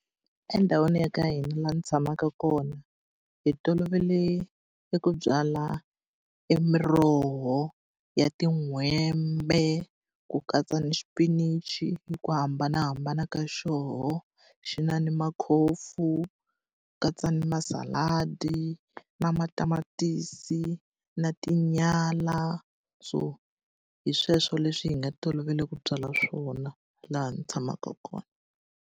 Endhawini ya ka hina laha ndzi tshamaka kona, hi tolovele eku byala e miroho ya tin'hwembe, ku katsa ni xipinichi hi ku hambanahambana ka xoho. Xi na ni makhofu, ku katsa ni masaladi, na matamatisi, na tinyala. So hi sweswo leswi hi nga tolovela ku byala swona laha ndzi tshamaka kona.